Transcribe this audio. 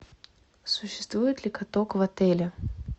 существует ли каток в отеле